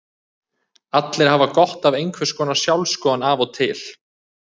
Allir hafa gott af einhvers konar sjálfsskoðun af og til.